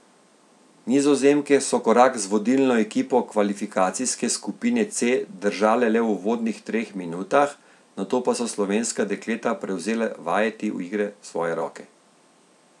Nizozemke so korak z vodilno ekipo kvalifikacijske skupine C držale le v uvodnih treh minutah, nato pa so slovenska dekleta prevzela vajeti igre v svoje roke.